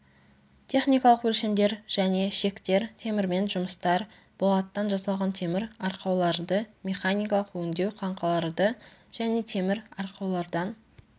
техникалық өлшемдер және шектер темірмен жұмыстар болаттан жасалған темір арқауларды механикалық өңдеу қаңқаларды және темір арқаулардан